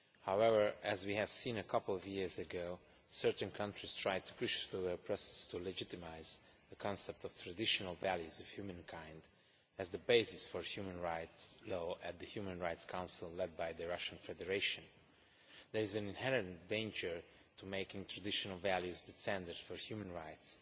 However, as we saw a couple of years ago, certain countries tried to push through a process to legitimise the concept of traditional values of humankind' as the basis for human rights law at the Human Rights Council, led by the Russian Federation. There is an inherent danger to making traditional values' the standard for human rights.